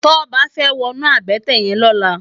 Toba fè wònú àbëtè yèn lòlá